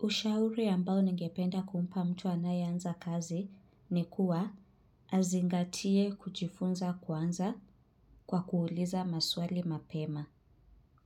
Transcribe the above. Ushauri ambao ningependa kumpa mtu anayeanza kazi ni kuwa azingatie kujifunza kwanza kwa kuuliza maswali mapema.